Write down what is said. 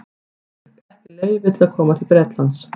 Hann fékk ekki leyfi til að koma til Bretlands.